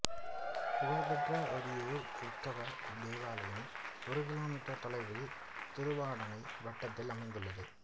புகழ் பெற்ற ஓரியூர் கிறித்தவ தேவலயம் ஒரு கிலோ மீட்டர் தொலைவில் திருவாடனை வட்டத்தில் அமைந்துள்ளது